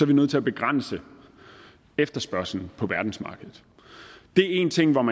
vi nødt til at begrænse efterspørgslen på verdensmarkedet det er en ting om